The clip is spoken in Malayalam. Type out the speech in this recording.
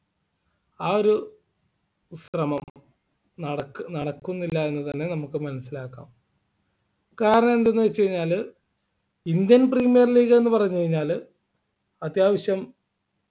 ആ ഒരു ശ്രമം നടക്കുന്നില്ല എന്ന് തന്നെ നമുക്ക് മനസ്സിലാക്കാം കാരണം എന്ത് എന്ന് വെച്ച് കഴിഞ്ഞാല് Indian premiere league എന്ന് പറഞ്ഞു കഴിഞ്ഞാല് അത്യാവശ്യം